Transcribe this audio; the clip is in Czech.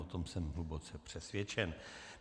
O tom jsem hluboce přesvědčen.